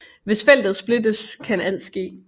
Hvis feltet splittes kan alt ske